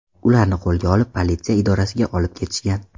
Ularni qo‘lga olib, politsiya idorasiga olib ketishgan.